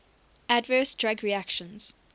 adverse drug reactions